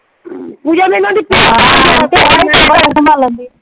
ਕਿਆ ਲੋੜ ਆ ਸੰਭਾਲਣ ਦੀ।